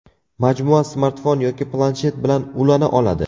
Majmua smartfon yoki planshet bilan ulana oladi.